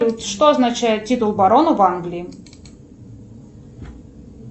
что означает титул барона в англии